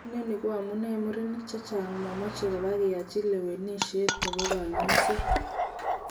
Inoni koamune murenik chechang momoche koba keyochi lewenishet nebo konyoiset.